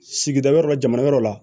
Sigida yɔrɔ la jamana wɛrɛ la